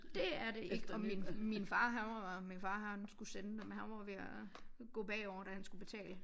Dét er det ikke og min min far han var min far han skulle sende dem han var jo ved at gå bagover da han skulle betale